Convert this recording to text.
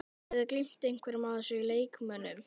Hafið þið gleymt einhverjum af þessum leikmönnum?